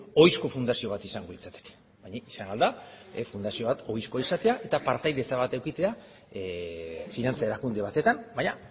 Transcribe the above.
ohizko fundazioa bat izango litzateke izan ahal da fundazio bat ohizkoa izatea eta partaidetza bat edukitzea finantza erakunde batetan baina